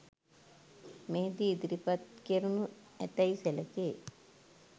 මෙහිදී ඉදිරිපත් කෙරෙනු ඇතැයි සැලකේ.